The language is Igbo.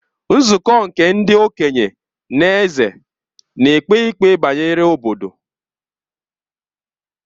Nzukọ nke ndi-okenye na Eze nēkpe ikpe bayere obodo.